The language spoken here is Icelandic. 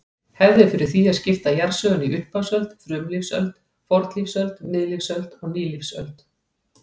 Hefð er fyrir því að skipta jarðsögunni í upphafsöld, frumlífsöld, fornlífsöld, miðlífsöld og nýlífsöld.